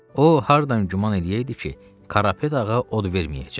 O hardan güman eləyəydi ki, Karapet ağa od verməyəcək.